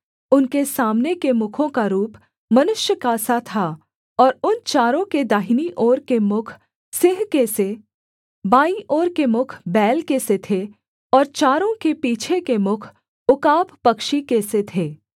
उनके सामने के मुखों का रूप मनुष्य का सा था और उन चारों के दाहिनी ओर के मुख सिंह के से बाईं ओर के मुख बैल के से थे और चारों के पीछे के मुख उकाब पक्षी के से थे